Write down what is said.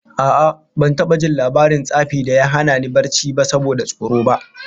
A'a, ban taba jin labarin tsafi da ya hana ni barci ba saboda tsoro ba